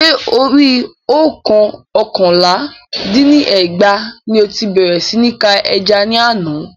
Ṣé Orí òǹkà oókànlá dín ní ẹgbàá ní o ti bèrè sí ní ka ẹja ní àna